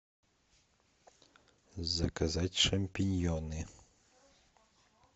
заказать шампиньоны